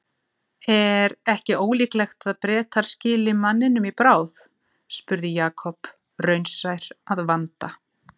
Er ekki ólíklegt að Bretar skili manninum í bráð? spurði Jakob, raunsær að vanda.